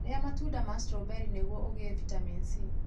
Ria matunda ma stroberĩ nĩgũo ũgĩe vitamini C.